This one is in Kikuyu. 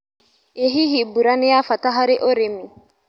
ĩ hihi mbura nĩ ya bata harĩ ũrĩmi.